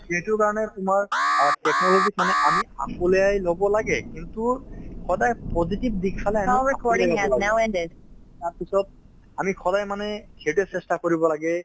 এইটোৰ কাৰণে তোমাৰ অ technology ক মানে আমি আঁকোৱালি ল'ব লাগে কিন্তু সদায় positive দিশ চালে আমি তাৰপিছত আমি সদায় মানে সেইটোয়ে চেষ্টা কৰিব লাগে